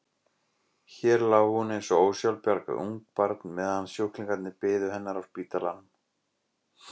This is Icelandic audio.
Hér lá hún eins og ósjálfbjarga ungbarn meðan sjúklingarnir biðu hennar á spítalanum.